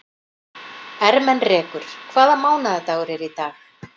Ermenrekur, hvaða mánaðardagur er í dag?